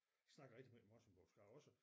Snakkede rigtig meget morsingbomålsk jeg har også